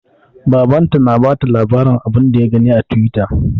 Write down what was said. Baban ta na bata labarin abun da ya gani a twitter